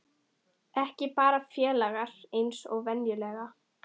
Ekki bara félagar eins og venjulega.